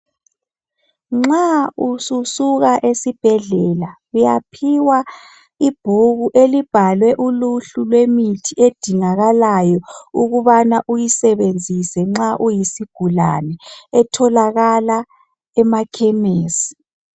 Nxa ususuka esibhedlela uyaphiwa ibhuku elibhalwe uluhlu lwemithi edingakalayo .Ukubana uyisebenzisa nxa uyisigulane etholakala emakhemesi.